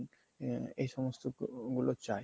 আ~ এইসমস্ত গুলো চায়